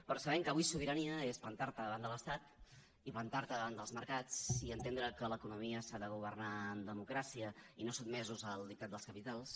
però sabem que avui sobirania és plantar te davant de l’estat i plantar te davant dels mercats i entendre que l’economia s’ha de governar en democràcia i no sotmesos al dictat dels capitals